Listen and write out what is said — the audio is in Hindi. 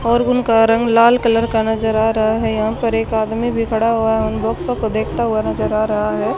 और उनका रंग लाल कलर का नजर आ रहा है यहां पर एक आदमी भी खड़ा हुआ है उन बॉक्सो को देखाता हुआ नजर आ रहा है।